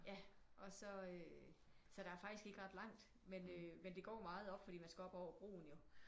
Ja og så øh så der er faktisk ikke ret langt men øh men det går meget op fordi man skal op over broen jo